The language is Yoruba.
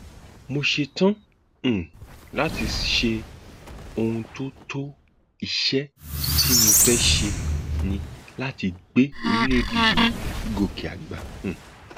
mo ṣetán um láti ṣe ohun tó tó iṣẹ tí mo fẹẹ ṣe ni láti gbé orílẹèdè yìí gòkè àgbà um